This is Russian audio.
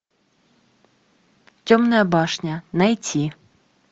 темная башня найти